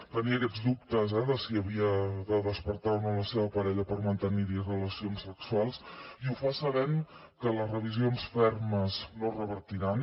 tenia aquests dubtes de si havia de despertar o no la seva parella per mantenir relacions sexuals i ho fa sabent que les revisions fermes no revertiran